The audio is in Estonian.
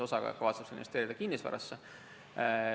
Osa kavatseb selle investeerida kinnisvarasse.